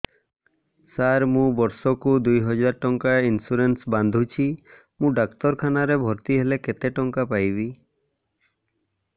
ସାର ମୁ ବର୍ଷ କୁ ଦୁଇ ହଜାର ଟଙ୍କା ଇନ୍ସୁରେନ୍ସ ବାନ୍ଧୁଛି ମୁ ଡାକ୍ତରଖାନା ରେ ଭର୍ତ୍ତିହେଲେ କେତେଟଙ୍କା ପାଇବି